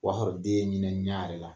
O wa sɔrɔ den ye ɲinɛ ɲa re la